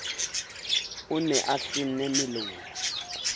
o ne a hlenne melomo